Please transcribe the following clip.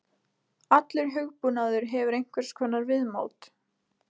Allur hugbúnaður hefur einhvers konar viðmót.